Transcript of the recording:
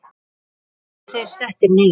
Þá voru þeir settir niður.